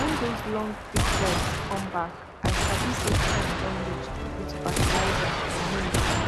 when those longbeak birds come back i sabi say time don reach to put fertiliser for maize